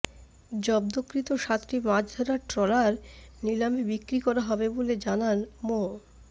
জব্দকৃত সাতটি মাছ ধরার ট্রলার নিলামে বিক্রি করা হবে বলে জানান মো